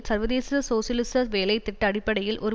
சர்வதேச சோசியலிச வேலை திட்ட அடிப்படையில் ஒரு